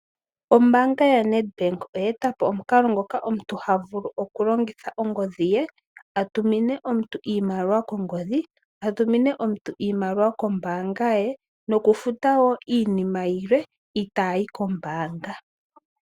Ombaanga yo Nedbank oye etapo omukalo ngoka omuntu havulu okulongitha ongodhi ye atumine omuntu iimaliwa kombaanga ye nokufuta woo iinima yilwe itayi kombaanga.